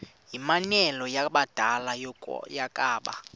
yimianelo yabadala yokaba